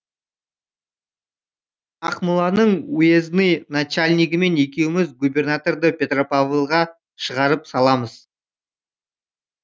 ақмоланың уездный начальнигімен екеуміз губернаторды петропавлға шығарып саламыз